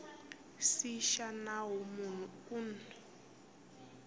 c xa nawu munhu un